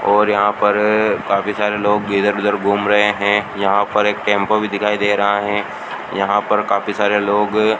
और यहां पर काफी सारे लोग इधर उधर घूम रहे हैं यहां पर एक टेंपो भी दिखाई दे रहा है यहां पर काफी सारे लोग --